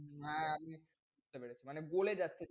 না আমি বুঝতে পেরেছি। মানে বলে যাচ্ছে,